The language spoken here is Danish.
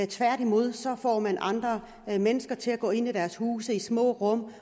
tværtimod får man andre mennesker til at gå ind i deres huse i små rum